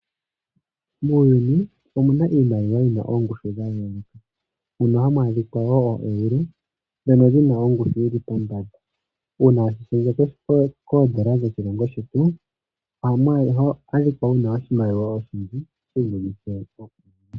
Muuyuni omuna iimaliwa yina oongushu dha yooloka ,mono hamu adhika oo euro ndhono dhina ongushu yili pombanda .